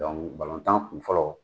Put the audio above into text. Dɔnku balontan kun fɔlɔ